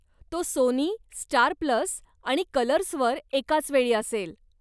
तो Sony, Star Plus आणि कलर्सवर एकाचवेळी असेल.